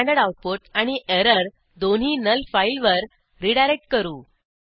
standard output आणि error दोन्ही null फाईलवर रीडायरेक्ट करू